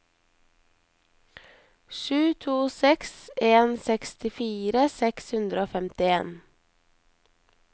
sju to seks en sekstifire seks hundre og femtien